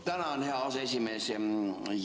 Tänan, hea aseesimees!